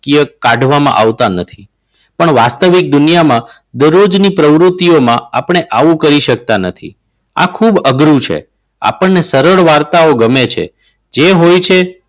કાઢવામાં આવતા નથી. પણ વાસ્તવિક દુનિયામાં દરરોજની પ્રવૃત્તિઓમાં આપણે આવું કરી શકતા નથી. આ ખૂબ અઘરું છે. આપણને સરળ વાર્તાઓ ગમે છે જે હોય છે.